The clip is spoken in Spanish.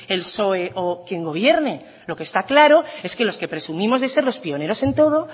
el psoe o quien gobierne lo que esta claro es que los que presumimos de ser los pioneros en todo